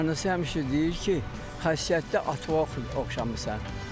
Anası həmişə deyir ki, xasiyyətdə ata Vahidə oxşamısan.